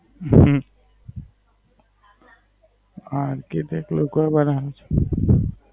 હમ હા તે તો ઓકાળ બાવ્યું છે.